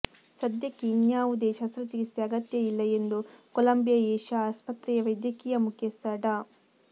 ಸದ್ಯಕ್ಕೆ ಇನ್ಯಾವುದೇ ಶಸ್ತ್ರ ಚಿಕಿತ್ಸೆ ಅಗತ್ಯ ಇಲ್ಲ ಎಂದು ಕೊಲಂಬಿಯ ಏಷ್ಯಾ ಆಸ್ಪತ್ರೆಯ ವೈದ್ಯಕೀಯ ಮುಖ್ಯಸ್ಥ ಡಾ